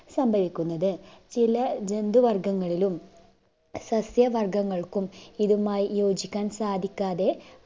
സംഭവിക്കുന്നത് ചില ജന്തുവർഗങ്ങളിലും സസ്യവർഗ്ഗങ്ങൾക്കും ഇതുമായി യോജിക്കാൻ സാധിക്കാതെ